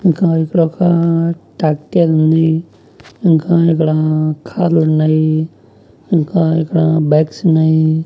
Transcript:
ఇంకా ఇక్కడ ఒక ట్యాక్టర్ ఉంది ఇంకా ఇక్కడా కార్ లు ఉన్నాయి ఇంకా ఇక్కడ బ్యాగ్స్ ఉన్నాయి.